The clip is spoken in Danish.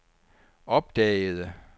opdagede